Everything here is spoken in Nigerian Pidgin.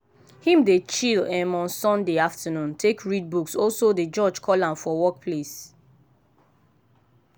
him dey chill um on sunday afternoon take read books also dey jorge call from work place.